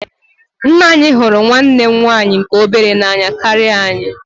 Nna anyị hụrụ nwanne m nwaanyị nke obere n'anya karịa anyị.